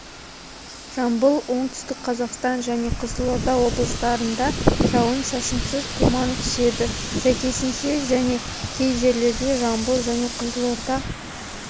жамбыл оңтүстік қазақстан және қызылорда облыстарында жауын-шашынсыз тұман түседі сәйкесінше және кей жерлерде жамбыл және қызылорда